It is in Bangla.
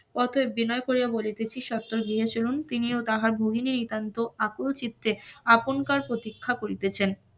অতেব বিনয় করিয়া বলিতেছি স্বত্বর গৃহে চলুন তিনি ও তাহার ভগিনী আকুল চিত্তে আপনকার প্রতীক্ষা করিতেছেন,